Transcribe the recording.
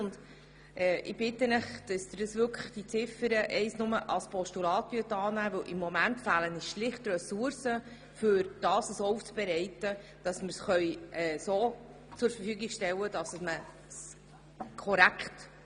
Ich bitte Sie, Ziffer 1 nur als Postulat anzunehmen, weil uns im Moment schlicht die Ressourcen fehlen, um die Daten so aufzubereiten, dass diese korrekt zur Verfügung gestellt werden können.